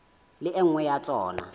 le e nngwe ya tsona